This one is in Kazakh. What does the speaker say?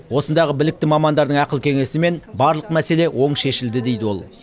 осындағы білікті мамандардың ақыл кеңесімен барлық мәселе оң шешілді дейді ол